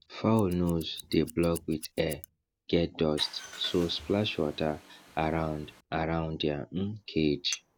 fowl nose dey block with air get dust so splash water around around dia um cage